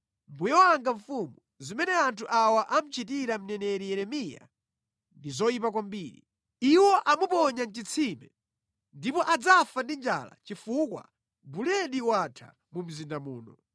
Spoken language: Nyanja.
“Mbuye wanga mfumu, zimene anthu awa amuchitira mneneri Yeremiya ndi zoyipa kwambiri. Iwo amuponya mʼchitsime, ndipo adzafa ndi njala chifukwa buledi watha mu mzinda muno.”